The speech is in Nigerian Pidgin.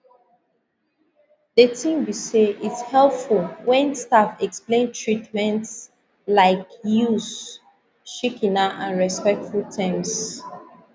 de tin be say its helpful wen staff explain treatments laik use shikena and respectful terms